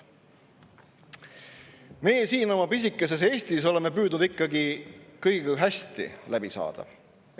Meie siin oma pisikeses Eestis oleme püüdnud ikka kõigiga hästi läbi saada.